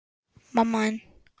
Ekki gekk það eftir.